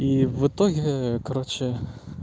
и в итоге короче